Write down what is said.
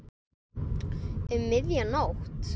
Um miðja nótt?